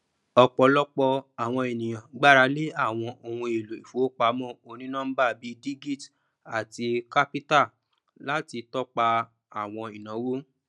ọpọlọpọ àwọn ènìyàn gbaralé àwọn ohun èlò ìfowópamọ onínọmbà bí digit àti qapital láti tọpa àwọn ináwó